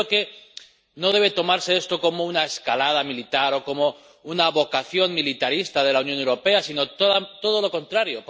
Y yo creo que no debe tomarse esto como una escalada militar o como una vocación militarista de la Unión Europea, sino todo lo contrario.